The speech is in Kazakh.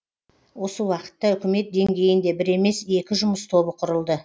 осы уақытта үкімет деңгейінде бір емес екі жұмыс тобы құрылды